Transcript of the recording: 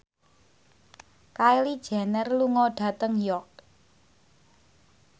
Kylie Jenner lunga dhateng York